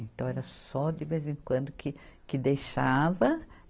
Então, era só de vez em quando que, que deixava.